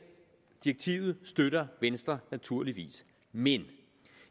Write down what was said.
direktivet støtter venstre naturligvis men